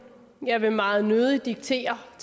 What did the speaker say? jeg vil meget nødig diktere for